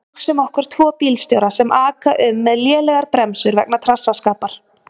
Hugsum okkur tvo bílstjóra sem aka um með lélegar bremsur vegna trassaskapar.